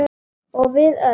Og við öll.